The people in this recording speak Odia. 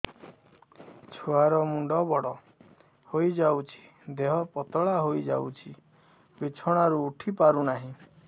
ଛୁଆ ର ମୁଣ୍ଡ ବଡ ହୋଇଯାଉଛି ଦେହ ପତଳା ହୋଇଯାଉଛି ବିଛଣାରୁ ଉଠି ପାରୁନାହିଁ